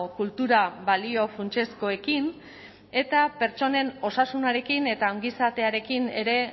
kultura balio funtsezkoekin eta pertsonen osasunarekin eta ongizatearekin ere